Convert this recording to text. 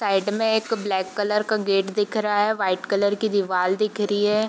Side में एक black colour का गेट दिख रहा है व्हाइट कलर की दीवार दिख रही है।